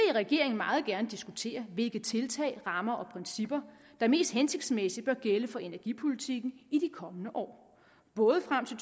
i regeringen meget gerne diskutere hvilke tiltag rammer og principper der mest hensigtsmæssigt bør gælde for energipolitikken i de kommende år både frem til